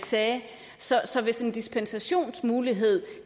sagde så så hvis en dispensationsmulighed